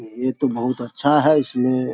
ये तो बहुत अच्छा हैं इसमे --